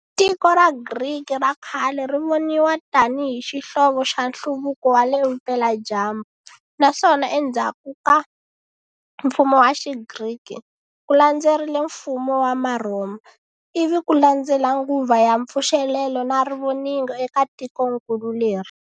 Tiko ra Griki ra khale rivoniwa tani hi xihlovo xa nhluvuko wale vupela dyambu, naswona endzaku ka mfumo wa xigriki, ku landzerile mfumo wa ma Rhoma, ivi kulandzela nguva ya mpfuxelelo na Rivoningo eka tiko nkulu leri.